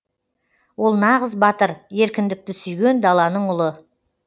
ол нағыз батыр еркіндікті сүйген даланың ұлы